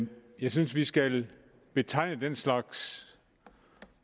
jeg synes vi skal betegne den slags